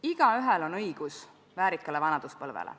Igaühel on õigus väärikale vanaduspõlvele.